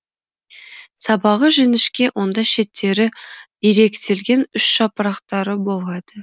сабағы жіңішке онда шеттері иректелген үш жапырақтары болады